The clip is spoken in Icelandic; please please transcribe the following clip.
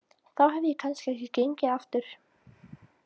Þá hefði ég kannski ekki gengið aftur.